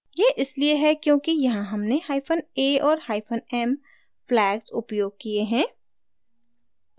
यह इसलिए है क्योंकि यहाँ हमने hyphen a और hyphen m flags उपयोग किये हैं